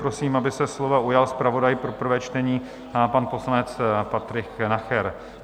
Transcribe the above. Prosím, aby se slova ujal zpravodaj pro prvé čtení, pan poslanec Patrik Nacher.